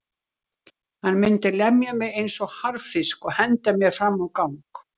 Hann mundi lemja mig eins og harðfisk og henda mér fram á gang.